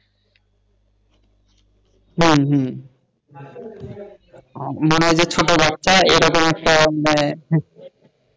হম হম মনে হয় যে ছোট বাচ্চা এরকম একটা,